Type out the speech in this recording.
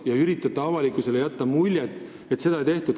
Te üritate avalikkusele jätta muljet, et midagi sellist ei tehtud.